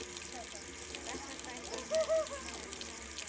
Þar stækka menn garða.